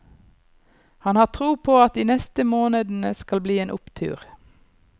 Han har tro på at de neste månedene skal bli en opptur.